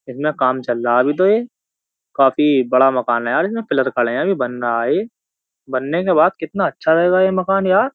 इसमें काम चल रहा है अभी तो ये काफी बड़ा मकान है यार इसमें पिलर खड़े हैं अभी बन रहा है ये बनने के बाद कितना अच्छा रहेगा ये मकान यार।